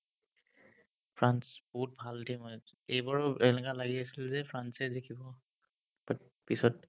France, বহুত ভাল হয় এক্স এইবোৰৰ এনেকা লাগি আছিল যে ফ্ৰান্সে জিকিব but পিছত